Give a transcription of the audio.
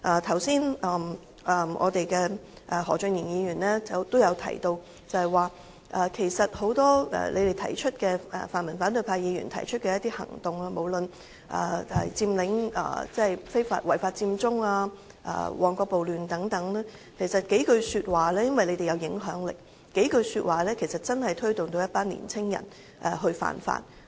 剛才何俊賢議員也提到，很多泛民反對派議員提出的一些行動，無論是違法佔中、旺角暴亂等，均由於他們富有影響力，只消三數句說話便推動了一群年青人以身試法。